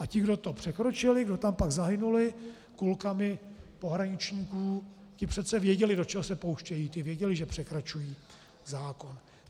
A ti, kdo to překročili, kdo tam pak zahynuli kulkami pohraničníků, ti přece věděli, do čeho se pouštějí, ti věděli, že překračují zákon.